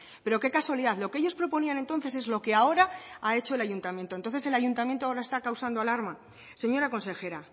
pero qué casualidad lo que ellos proponían entonces es lo que ahora ha hecho el ayuntamiento entonces el ayuntamiento ahora está causando alarma señora consejera